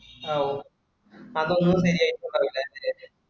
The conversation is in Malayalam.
ആ ഓ അത് ഒന്നും ശെരിയായിട്ടിണ്ടാവുലാലേ